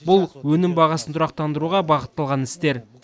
бұл өнім бағасын тұрақтандыруға бағытталған істер